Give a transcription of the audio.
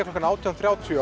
klukkan átján þrjátíu